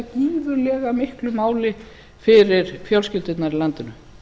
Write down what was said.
skipta gífurlega miklu máli fyrir fjölskyldurnar í landinu